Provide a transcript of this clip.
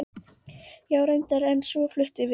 Já, reyndar, en svo fluttum við.